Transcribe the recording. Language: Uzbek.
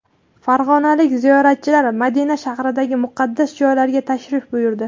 Farg‘onalik ziyoratchilar Madina shahridagi muqaddas joylarga tashrif buyurdi .